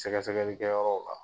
Sɛgɛsɛgɛli kɛyɔrɔw la